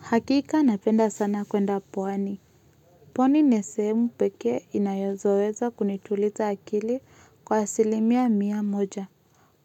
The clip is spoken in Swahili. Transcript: Hakika napenda sana kwenda pwani. Pwani nesemu peke inayozoweza kunitulita akili kwa silimia miya moja.